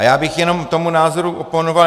A já bych jenom tomu názoru oponoval.